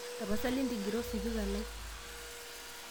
tapasali ntigira osipika lai